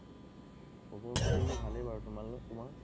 খবৰ পাতি ভালেই বাৰু, তোমাৰ?